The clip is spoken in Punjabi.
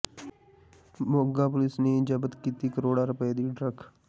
ਮੋਗਾ ਪੁਲਿਸ ਨੀ ਜਬਤ ਕੀਤੀ ਕਰੋੜਾਂ ਰੁਪਏ ਦੀ ਡਰੱਗ